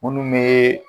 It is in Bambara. Minnu bɛ